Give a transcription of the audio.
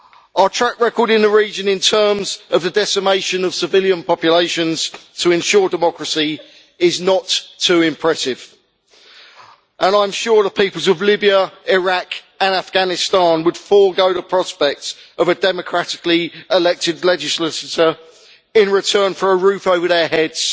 Our track record in the region in terms of the decimation of civilian populations to ensure democracy is not too impressive, and I am sure the peoples of Libya, Iraq and Afghanistan would forgo the prospects of a democratically elected legislature in return for a roof over their heads,